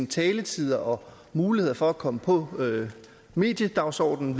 taletid og muligheder for at komme på mediedagsordenen